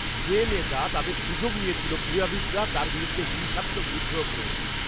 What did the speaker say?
যে নেতা তাদের সুযোগ নিয়েছিল। ক্রীড়াবিদরা তার বিরুদ্ধে হিংসাত্মকভাবে বিদ্রোহ করে ওঠে।